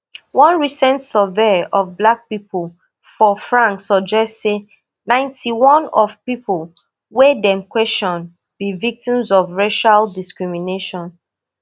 one recent survey of black pipo for france suggest say ninety-one of pipo wey dem question be victims of racial discrimination